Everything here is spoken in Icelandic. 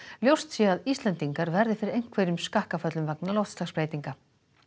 ljóst sé að Íslendingar verði fyrir einhverjum skakkaföllum vegna loftslagsbreytinga